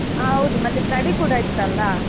ಹಾ ಹೌದು ಮತ್ತೆ study ಕೂಡ ಇತ್ತಲ್ವಾ